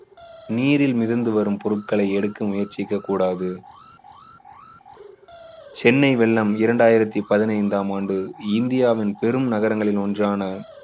நீரில் மிதந்து வரும் பொருட்களை எடுக்க முயற்சிக்கக் கூடாது. சென்னை வெள்ளம் இரண்டாயிரத்து பதினைந்தாம் ஆண்டு இந்தியாவின் பெரும் நகரங்களில் ஒன்றான